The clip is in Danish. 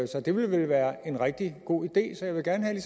så det vil vel være en rigtig god idé så jeg vil gerne